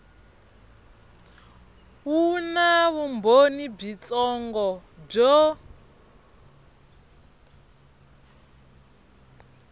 wu na vumbhoni byitsongo byo